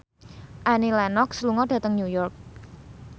Annie Lenox lunga dhateng New York